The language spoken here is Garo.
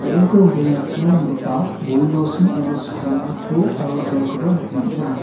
be·enko rongtale rakkina nonggipa bodi losin aro skona to aro gel-koba nikna man·a.